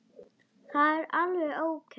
Það er alveg ókei.